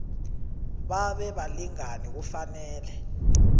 babe balingani kufanele